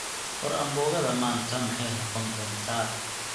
war ambogada manta maxay nuqondonta